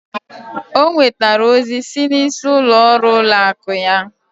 O nwetara ozi si n'isi ụlọ ọrụ ụlọ akụ anyị.